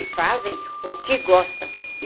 E fazem o que gostam.